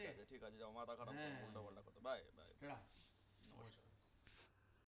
ঠিক আছে ঠিক আছে মাথা খারাপ উল্টাপাল্টা কথা বলছো বাই